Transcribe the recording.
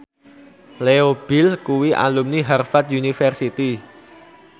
Leo Bill kuwi alumni Harvard university